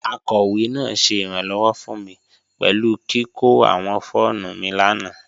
Akọwe naa ṣẹ iranlọwọ fun mi pẹlu kiko awọn fọọmu mi lana.